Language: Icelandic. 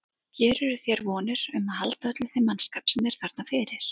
Gerirðu þér vonir um að halda öllum þeim mannskap sem er þarna fyrir?